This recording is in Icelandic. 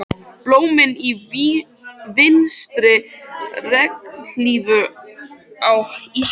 Blómin í vinstri, regnhlíf í hægri.